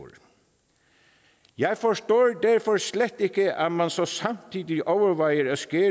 jeg forstår derfor slet ikke at man så samtidig overvejer at nedskære